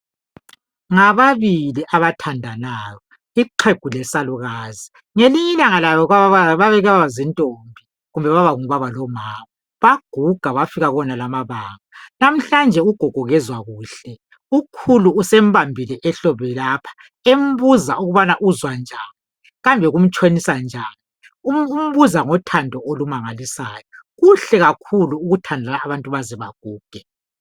Ngabantu ababili abathandanayo ixhugu lesalukazi ngelinye ilanga babake babalijaha lentombi kumbe umama lobaba baguga bafika kuwonalawa amabanga nahlanje ugogo kezwa kahle ukhulu usembambile ehlombe lapha embuza ukubNa uzwa njani kambe kumtshonisa njani umbuza ngothando olumangilisayo kuhle ukubana abantu bethandane beze beguge